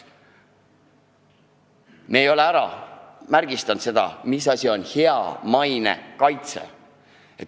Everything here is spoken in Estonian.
Me ei ole määratlenud, mis asi on hea maine kaitse.